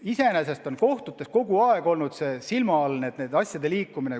Iseenesest on kohtutes asjade liikumine kogu aeg silma all olnud.